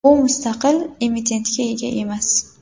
U mustaqil emitentga ega emas.